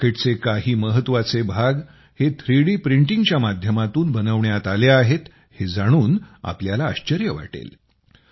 या रॉकेटचे काही महत्त्वाचे भाग हे थ्रीडी प्रिंटिंगच्या माध्यमातून बनवण्यात आले आहेत हे जाणून तुम्हाला आश्चर्य वाटेल